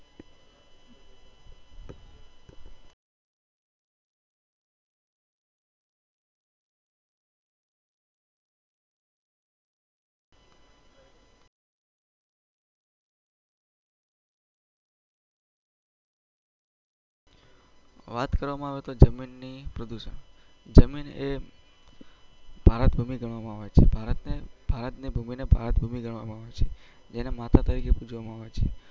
વાત કરવામો આવે તો જમીન ની જમીન e ભારત ભૂમિ ગણવામાં આવે છે ભારત ની ભૂમિ ને ભારત ભૂમિ ગણવામો આવે છે જેને માતા તરીકે પુજ્વામો આવે છે